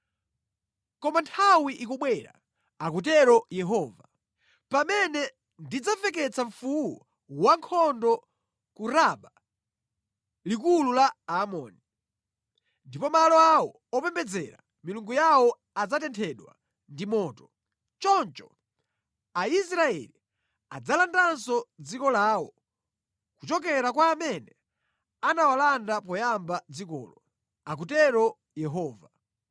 Koma nthawi ikubwera,” akutero Yehova, “pamene ndidzamveketse mfuwu wankhondo ku Raba, likulu la Amoni; ndipo malo awo opembedzera milungu yawo adzatenthedwa ndi moto. Choncho Aisraeli adzalandanso dziko lawo kuchokera kwa amene anawalanda poyamba dzikolo,” akutero Yehova.